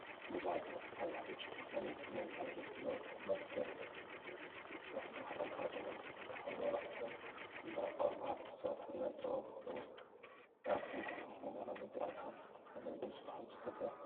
ቡዙሓት ሰባት ቀይሕ፣ ብጫ፣ ቆፃልን ፀሊምን ሕብሪ ዘለዎ ካባ ገይሮም፤ ፃዕዳ ክዳን ተከዲኖም፤ ክልተ ከበሮ ሒዞም እናወቅዑን ባህላዊ ፀወታ እናተፃወቱን ይርከቡ፡፡ አብ ጥቅኦም ከዓ ዓበይቲ አትክልቲታት አለው፡፡ ደስ በሃሊ ባህላዊ ፀዋታ እዩ፡፡